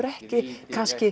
ekki